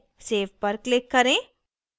save पर click करें